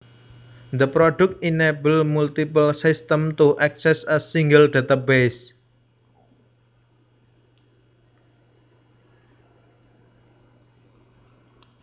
The product enables multiple systems to access a single database